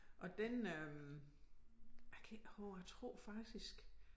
Og den øh jeg kan ikke huske det jeg tror faktisk